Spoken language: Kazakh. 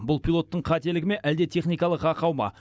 бұл пилоттың қателігі ме әлде техникалық ақау ма